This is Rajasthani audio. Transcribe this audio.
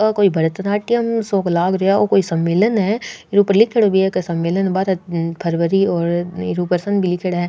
ओ कोई भरतनाट्यम सो लाग रियो है ओ कोई सम्मलेन है लिखेड़ा है।